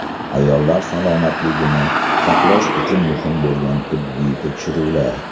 Ayollar salomatligini saqlash uchun muhim bo‘lgan tibbiy tekshiruvlar.